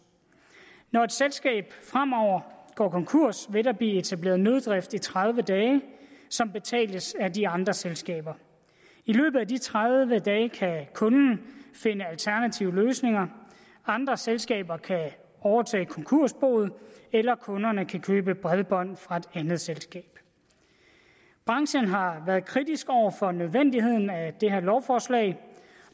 når et selskab fremover går konkurs vil der blive etableret nøddrift i tredive dage som betales af de andre selskaber i løbet af de tredive dage kan kunden finde alternative løsninger andre selskaber kan overtage konkursboet eller kunderne kan købe bredbånd fra et andet selskab branchen har været kritisk over for nødvendigheden af det her lovforslag